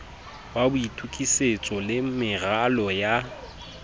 wa boitokisetso le meralo ya